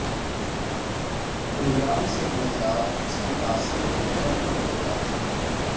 programme سے انحراف اس کی تاثیر کو کم کر دیتا